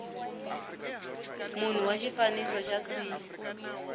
munhu wa xifaniso xa c